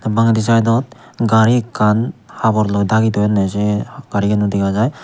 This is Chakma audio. bangeydi saidot gari ekkan haborloi dagi toyonne se garigano dega jai.